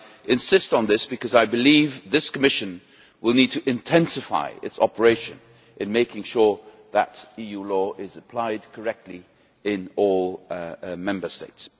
I insist on this because I believe this Commission will need to intensify its operations in making sure that EU law is applied correctly in all Member States.